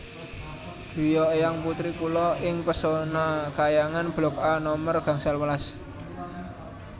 griya eyang putri kula ing Pesona Khayangan blok A nomer gangsal welas